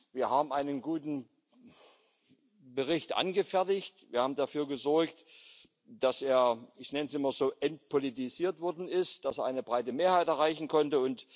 Wir haben einen guten Bericht angefertigt, wir haben dafür gesorgt, dass er ich nenne es immer so entpolitisiert worden ist, dass er eine breite Mehrheit erreichen konnte.